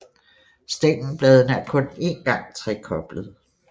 Stængelbladene er kun en gang trekoblede